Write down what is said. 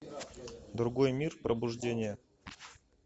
другой мир пробуждение